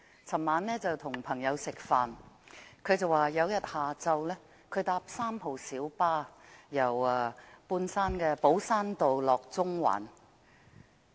昨晚我與朋友吃飯，他說某天下午乘搭3號小巴，由半山寶珊道前往中環。